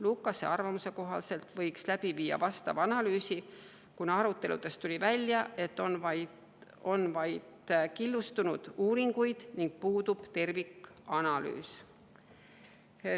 Lukase arvamuse kohaselt võiks läbi viia vastava analüüsi, kuna aruteludest tuli välja, et on vaid killustunud uuringuid ning puudub tervikanalüüs.